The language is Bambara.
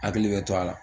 Hakili bɛ to a la